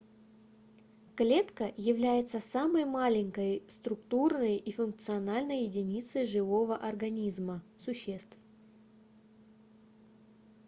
клетка является самой маленькой структурной и функциональной единицей живого организма существ